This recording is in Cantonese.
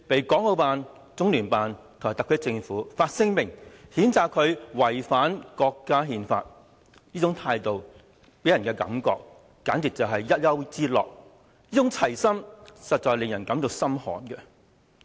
港澳辦、中聯辦及特區政府隨即發表聲明，譴責他違反國家憲法，這種態度令人感到簡直是一丘之貉，這種齊心實在令人感到心寒。